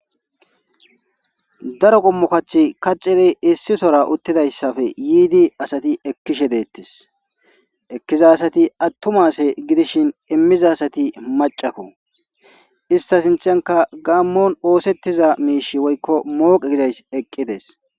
daro qommo kach kaxiri issi sora uttidayssafe yiidi asati ekkishe deettes ekkiza asati attumase gidishin immiza asati macakko ista sinthanka gaammon oosettiza miish woykko mooqi gidays eqqidees